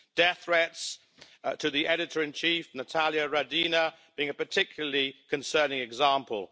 Death threats to the editor-in-chief, Natalya Radina, being a particularly concerning example.